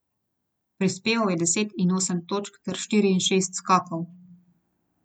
Prispeval je deset in osem točk ter štiri in šest skokov.